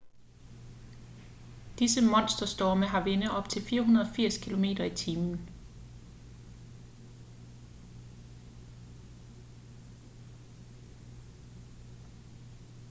disse monsterstorme har vinde op til 480 km/t 133 m/s; 300 mil i timen